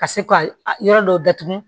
Ka se ka yɔrɔ dɔ datugu